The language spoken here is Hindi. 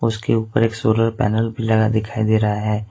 उसके ऊपर एक सोलर पैनल भी लगा दिखाई दे रहा है।